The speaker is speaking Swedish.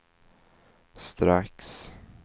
strax